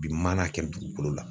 Bi mana kɛ dugukolo la